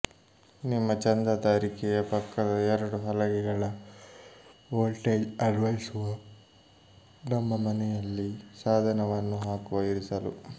ನಿಮ್ಮ ಚಂದಾದಾರಿಕೆಯ ಪಕ್ಕದ ಎರಡು ಹಲಗೆಗಳ ವೋಲ್ಟೇಜ್ ಅನ್ವಯಿಸುವ ನಮ್ಮ ಮನೆಯಲ್ಲಿ ಸಾಧನವನ್ನು ಹಾಕುವ ಇರಿಸಲು